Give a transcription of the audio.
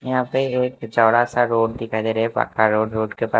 यहां पे एक चौड़ा सा रोड दिखाई दे रहा है पक्का रोड रोड के पा--